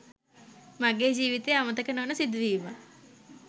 මගේ ජීවිතයේ අමතක නොවන සිදු වීමක්.